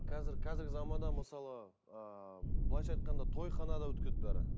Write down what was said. қазір қазіргі заманда мысалы ыыы былайша айтқанда тойханада өткізеді бәрі